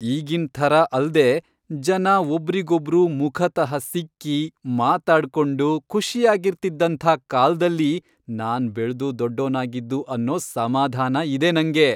ಈಗಿನ್ ಥರ ಅಲ್ದೇ ಜನ ಒಬ್ರಿಗೊಬ್ರು ಮುಖತಃ ಸಿಕ್ಕಿ, ಮಾತಾಡ್ಕೊಂಡು ಖುಷಿಯಾಗಿರ್ತಿದ್ದಂಥ ಕಾಲ್ದಲ್ಲಿ ನಾನ್ ಬೆಳ್ದು ದೊಡ್ಡೋನಾಗಿದ್ದು ಅನ್ನೋ ಸಮಾಧಾನ ಇದೆ ನಂಗೆ.